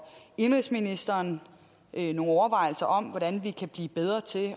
indenrigsministeren nogle overvejelser om hvordan vi kan blive bedre til